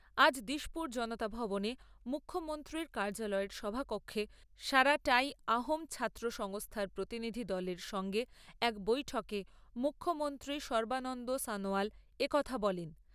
আজ দিসপুর জনতা ভবনে মুখ্যমন্ত্রীর কার্যালয়ের সভাকক্ষে সারা টাই অহোম ছাত্র সংস্থার প্রতিনিধি দলের সঙ্গে এক বৈঠকে মুখ্যমন্ত্রী সর্বানন্দ সনোয়াল এ কথা বলেন।